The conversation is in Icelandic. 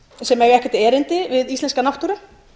sem eiga ekkert erindi við íslenska náttúru